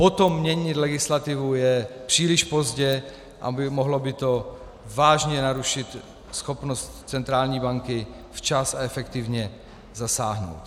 Potom měnit legislativu je příliš pozdě a mohlo by to vážně narušit schopnost centrální banky včas a efektivně zasáhnout.